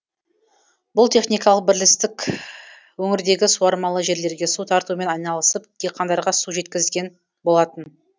бұл техникалық бірлістік өңірдегі суармалы жерлерге су тартумен айналысып диқандарға су жеткізген болатын